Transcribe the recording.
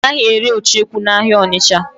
A naghị ere ucheku n'ahịa Ọnịcha.